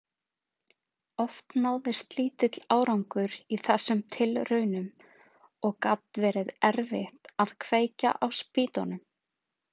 Oft náðist lítill árangur í þessum tilraunum og gat verið erfitt að kveikja á spýtunum.